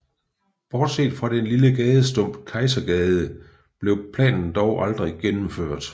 Bortset fra den lille gadestump Kejsergade blev planen dog aldrig gennemført